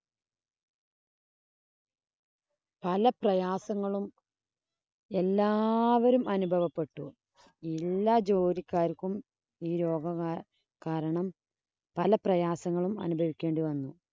പല പ്രയാസങ്ങളും എല്ലാവരും അനുഭവപ്പെട്ടു. എല്ലാ ജോലിക്കാര്‍ക്കും ഈ രോഗ കാരണം പല പ്രയാസങ്ങളും അനുഭവിക്കേണ്ടി വന്നു.